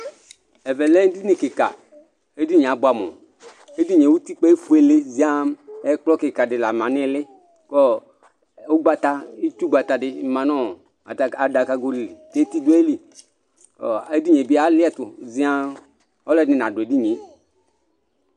Ɛvɛlɛ ʋdʋnʋ kika edini yɛ abʋamu edinie utikpa efuele ziaa ɛkplɔ kikadi la ma nʋ iili kʋ itsugbata di manʋ adakago li kʋ eti dʋ ayili kʋ edinie bilɛ ziaa ɔlʋɛdi nadʋ edinie